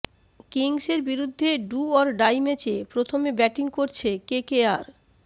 কিংসের বিরুদ্ধে do or die ম্যাচে প্রথমে ব্যাটিং করছে কেকেআর